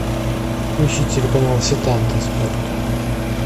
включи телеканал сетанта спорт